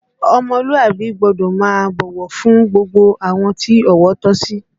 Ọmọlúàbí gbọ́dọ̀ máa bọ̀wọ̀ fún gbogbo àwọn tí ọ̀wọ̀ tọ́ sí